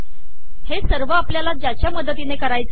हे सर्व आपल्याला ज्याच्या मदतीने करायचे आहे